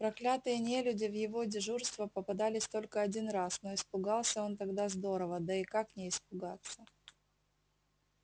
проклятые нелюди в его дежурства попадались только один раз но испугался он тогда здорово да и как не испугаться